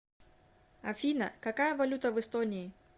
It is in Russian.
афина какая валюта в эстонии